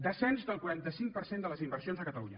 descens del quaranta cinc per cent de les inversions a catalunya